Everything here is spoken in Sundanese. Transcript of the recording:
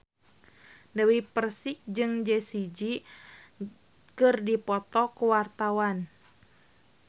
Dewi Persik jeung Jessie J keur dipoto ku wartawan